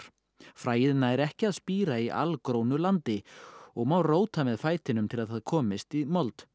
fræið nær ekki að spíra í landi og má róta með fætinum til að það komist í mold